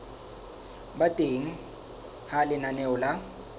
ba teng ha lenaneo la